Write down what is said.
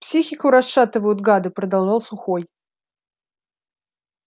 психику расшатывают гады продолжал сухой